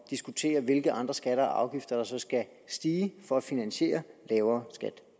diskutere hvilke andre skatter og afgifter der så skal stige for at finansiere lavere skat